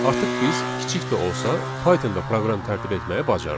Artıq biz kiçik də olsa, Python-da proqram tərtib etməyi bacarırıq.